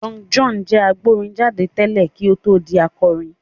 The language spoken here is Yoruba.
Young John jẹ́ agbórin jáde tẹ́lẹ̀ kí ó tó di akọrin.